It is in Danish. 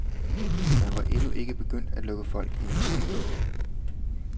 Man var endnu ikke begyndt at lukke folk ind i salen.